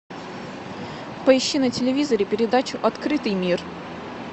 поищи на телевизоре передачу открытый мир